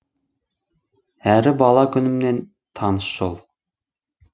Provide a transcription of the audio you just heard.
әрі бала күнімнен таныс жол